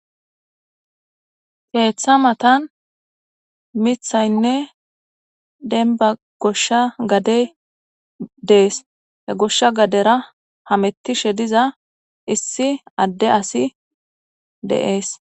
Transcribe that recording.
Keeththa matan mithaynne denba goshsha gadey dees he goshsha gadera hamettishe diza issi adde asi deees.